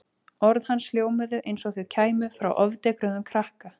Orð hans hljómuðu eins og þau kæmu frá ofdekruðum krakka.